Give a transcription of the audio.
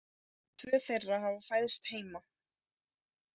Tvö þeirra hafa fæðst heima